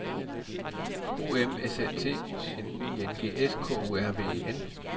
O M S Æ T N I N G S K U R V E N